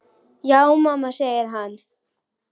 Já mamma, segir hann.